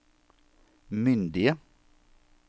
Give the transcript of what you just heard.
myndige